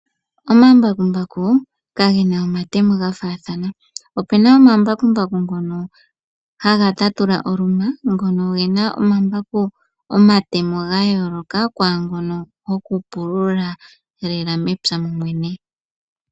Omambakumbaku kagena omatemo ga faathana. Opena Omambakumbaku ngono gokùtatula oluma ogena omatemo ga yooloka kwaangono gokupulula mepya momwene.